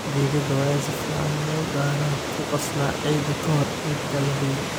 Digada waa in si fiican loogu daraa/ku qasnaa ciidda ka hor intaan la beerin.